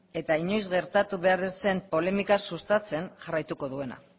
eta inoiz gertatu behar ez zen polemika sustatzen jarraituko duena